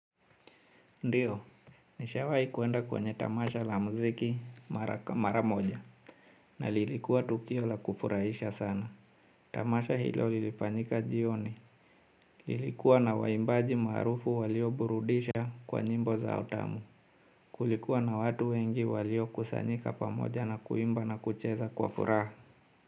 Ndiyo, nishawahi kuenda kwenye tamasha la muziki mara moja na lilikuwa tukio la kufurahisha sana. Tamasha hilo lilifanyika jioni. Lilikuwa na waimbaji maarufu walio burudisha kwa nyimbo za utamu. Kulikuwa na watu wengi waliokusanyika pamoja na kuimba na kucheza kwa furaha.